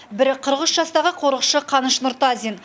бірі қырық үш жастағы қорықшы қаныш нұртазин